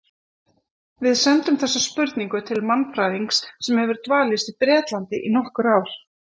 Við sendum þessa spurningu til mannfræðings sem hefur dvalist á Bretlandi í nokkur ár.